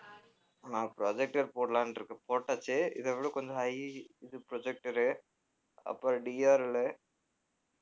நான் projector போடலான்டிருக்கேன் போட்டாச்சு இதைவிட கொஞ்சம் high இது projector உ அப்புறம் DRL லு